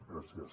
gràcies